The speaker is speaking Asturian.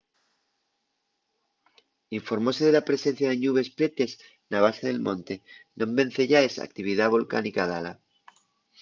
informóse de la presencia de ñubes prietes na base del monte non venceyaes a actividá volcánica dala